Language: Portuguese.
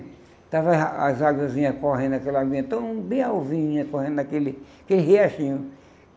Estavam as aguazinhas correndo naquela aguinha tão bem alvinha, correndo naquele aquele riachinho.